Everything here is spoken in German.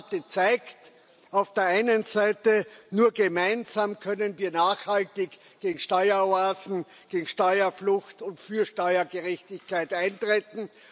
Die Debatte zeigt auf der einen Seite Nur gemeinsam können wir nachhaltig gegen Steueroasen, gegen Steuerflucht und für Steuergerechtigkeit eintreten.